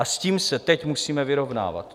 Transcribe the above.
A s tím se teď musíme vyrovnávat.